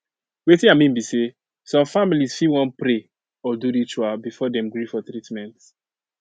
wetin i mean be say some families fit wan pray or do ritual before dem gree for treatment